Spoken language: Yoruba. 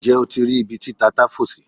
Nje o ti ri ibi ti tata fo si?